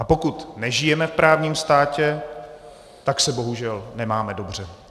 A pokud nežijeme v právní státě, tak se bohužel nemáme dobře.